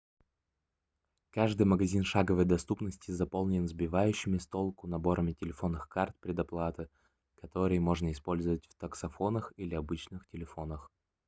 каждый магазин шаговой доступности заполнен сбивающими с толку наборами телефонных карт предоплаты которые можно использовать в таксофонах или обычных телефонах